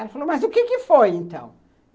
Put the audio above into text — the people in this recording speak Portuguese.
Ela falou, mas o que que foi então?